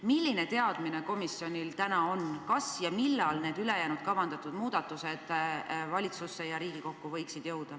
Milline teadmine komisjonil on, kas ja millal võiksid ülejäänud kavandatud muudatused jõuda valitsusse ja Riigikokku?